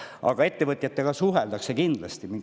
Aga ettevõtjatega suheldakse kindlasti.